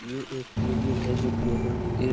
ये एक क्लिनिक है जो की यहाँ एक--